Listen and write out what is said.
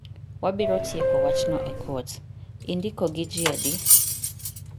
Wabiro tieko wachno e kot. Indiko gi ji adi?